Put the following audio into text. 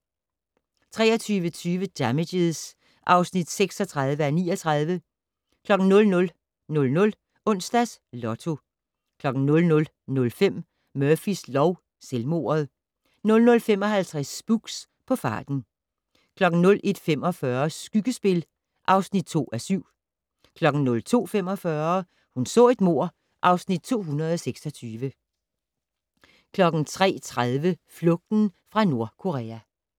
23:20: Damages (36:39) 00:00: Onsdags Lotto 00:05: Murphys lov: Selvmordet 00:55: Spooks: På farten 01:45: Skyggespil (2:7) 02:45: Hun så et mord (Afs. 226) 03:30: Flugten fra Nordkorea